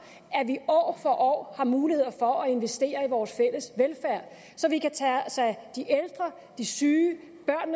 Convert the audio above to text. at vi år for år har muligheder for at investere i vores fælles velfærd så vi kan tage os af de ældre de syge